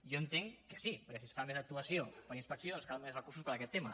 jo entenc que sí perquè si es fa més actuació per a inspeccions calen més recursos per a aquest tema